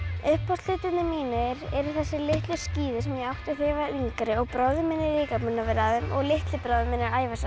uppáhaldshlutirnir mínir eru þessi litlu skíði sem ég átti þegar ég var yngri bróðir minn er líka búinn að vera á þeim og litli bróðir minn er að æfa sig